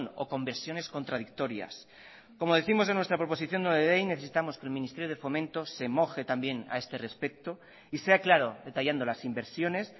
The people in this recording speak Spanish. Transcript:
o conversiones contradictorias como décimos en nuestra proposición no de ley necesitamos que el ministerio de fomento se moje también a este respecto y sea claro detallando las inversiones